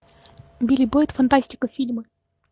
билли бойт фантастика фильмы